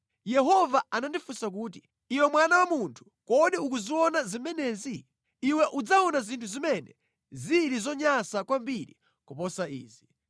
Yehova anandifunsa kuti, “Iwe mwana wa munthu, kodi ukuziona zimenezi? Iwe udzaona zinthu zimene zili zonyansa kwambiri kuposa izi.”